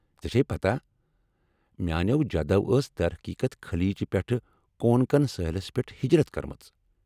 ژے٘ چھیہِ پتاہ ، میانیو جدو ٲس درحقیقت خلیج پٮ۪ٹھہ کونکن سٲحِلس پیٹھ ہجرت كٕرمٕژ ۔